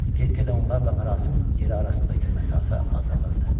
Get-gedə onlarla mərasim yeri arasındakı məsafə azalırdı.